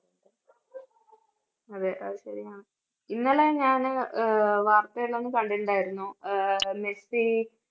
അതെ, അത് ശരിയാണ്. ഇന്നലെ ഞാന് ആഹ് വാർത്തയില് ഞാന് കണ്ടിട്ടുണ്ടായിരുന്നു ആഹ് മെസ്സി